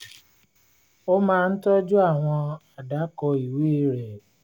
ó máa ń tọ́jú àwọn àdàkọ́ ìwé rẹ̀